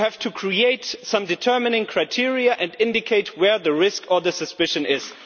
You have to create some determining criteria and indicate where the risk or suspicion is.